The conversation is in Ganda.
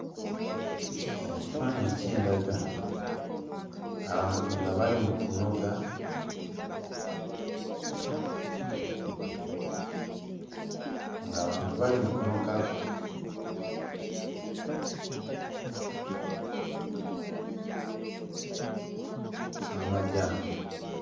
Kino ekifaananyi kindaga abantu nga bali mu kunoga ng'abantu bali mu kunoga amajaani.